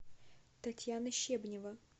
татьяна щебнева